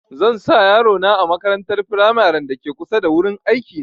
Zan sa yaro na a makarantar firamaren da ke kusa da wurin aiki na